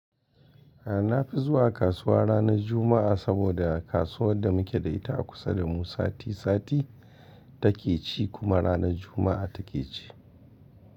A na fi zuwa kasuwa ranar Juma'a saboda kasuwar da muke da ita a kusa da mu sati sati take ci kuma ranar Juma'a take ci.